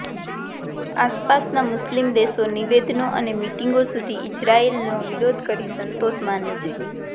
આસપાસના મુસ્લિમ દેશો નિવેદનો અને મીટીંગો સુધી ઇઝરાયેલનો વિરોધ કરી સંતોષ માને છે